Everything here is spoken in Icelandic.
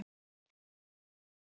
Nei, ert þú kominn?